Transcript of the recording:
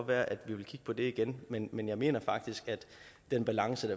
være at vi vil kigge på det igen men men jeg mener faktisk at den balance